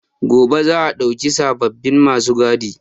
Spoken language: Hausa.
Gobe za a ɗauki sababbin ma su gadi.